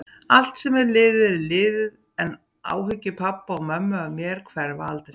Allt sem er liðið er liðið, en áhyggjur pabba og mömmu af mér hverfa aldrei.